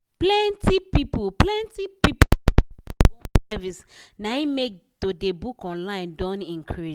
plenti people plenti people wey want home service na im make to dey book online don increase.